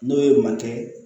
N'o ye makɛ